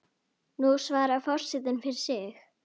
Nú svarar forseti fyrir sig.